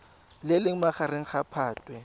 le leng magareng ga phatwe